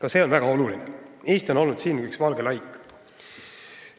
Eesti on siinkohal olnud üks valge laik.